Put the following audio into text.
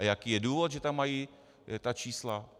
A jaký je důvod, že tam mají ta čísla?